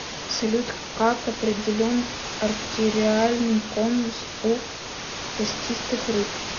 салют как определен артериальный конус у костистых рыб